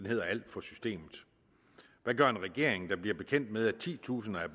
hedder alt for systemet hvad gør en regering der bliver bekendt med at titusinder af